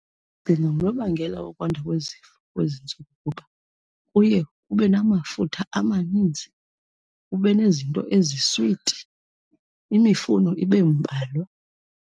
Ndicinga ngunobangela wokwanda kwezifo kwezi ntsuku. Kuba kuye kube namafutha amaninzi, kube nezinto eziswiti, imifuno ibe mbalwa.